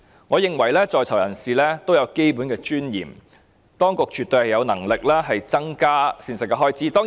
我認為在囚人士也有基本尊嚴，當局絕對有能力增加膳食開支。